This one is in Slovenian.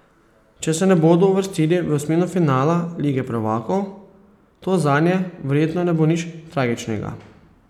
Če se ne bodo uvrstili v osmino finala lige prvakov, to zanje verjetno ne bo nič tragičnega.